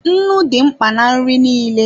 Nnu dị mkpa na nri nile.